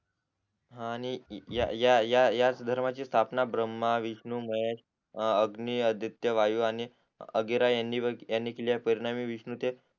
हा आणि या या या याच धर्माची स्थापन ब्रम्हा विष्णू महेश अग्नी आदित्य वायू आणि अंगिरा यांनी यांनी केली आहे पूर्णवी विष्णूचेत